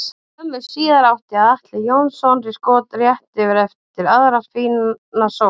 Skömmu síðar átti Atli Jóhannsson skot rétt yfir eftir aðra fína sókn.